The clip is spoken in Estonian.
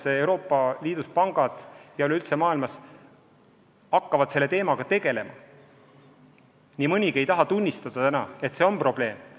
Praegu Euroopa Liidu ja kogu maailma pangad alles hakkavad selle teemaga tegelema ja nii mõnigi ei taha tunnistada, et see on probleem.